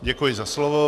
Děkuji za slovo.